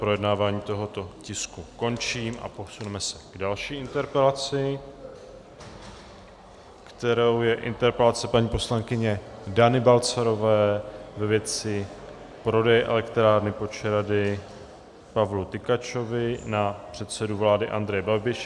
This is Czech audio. Projednávání tohoto tisku končím a posuneme se k další interpelaci, kterou je interpelace paní poslankyně Dany Balcarové ve věci prodeje elektrárny Počerady Pavlu Tykačovi na předsedu vlády Andreje Babiše.